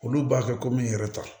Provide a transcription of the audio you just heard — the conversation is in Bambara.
Olu b'a kɛ komi n yɛrɛ ta